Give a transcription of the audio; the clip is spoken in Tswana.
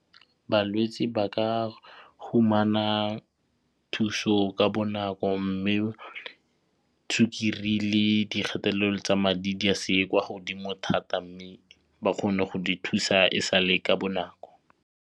Balwetsi ba ka fumana thuso ka bonako mme sukiri le dikgatelelo tsa madi di a seye kwa godimo thata mme ba kgone go di thusa e sale ka bonako.